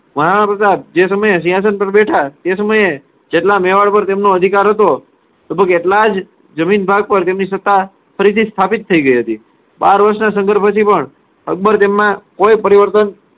મહારાણા પ્રતાપ જે સમયે સિંહાસન પર બેઠા તે સમયે જેટલા મેવાડ પર તેમનો અધિકાર હતો, લગભગ એટલા જ જમીન ભાગ પર તેમની સત્તા ફરીથી સ્થાપિત થઇ ગઈ હતી. બાર વર્ષના સંઘર્ષ પછી પણ અકબર તેમાં કોઈ પરિવર્તન